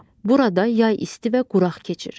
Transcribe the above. Burada yay isti və quraq keçir.